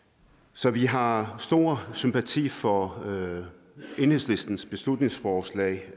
så vi har stor sympati for enhedslistens beslutningsforslag